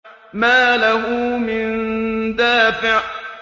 مَّا لَهُ مِن دَافِعٍ